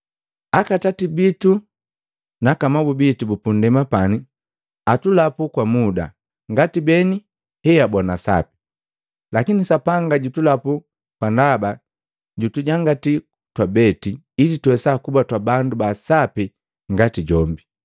Akatati naka amabu bitu bu pundema pani atulapu kwa muda, ngati beni heababona sapi; lakini Sapanga jutulapu kwa ndaba jutujangati twabete, ili tuwesa kuba twabandu baasapi ngati jombi.